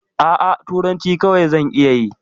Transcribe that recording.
A'a, turanci kawai zan iya yi.